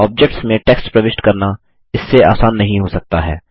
objects में text प्रविष्ट करना इससे आसान नहीं हो सकता है